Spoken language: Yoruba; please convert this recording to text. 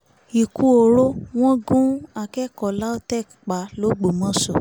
ikú oró wọ́n gun akẹ́kọ̀ọ́ lautech pa lọgbọ́mọso